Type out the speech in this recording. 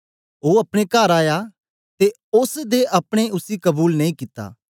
ओ अपने कर आया ते ओस दें अपने उसी कबूल नेई कित्ता